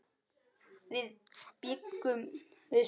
Þar bjuggum við saman.